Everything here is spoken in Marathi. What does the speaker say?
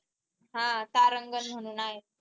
हा तारांगण म्हणून आहे.